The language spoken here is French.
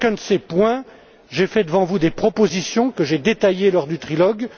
Sur chacun de ces points, j'ai fait devant vous des propositions que j'ai détaillées lors du trilogue.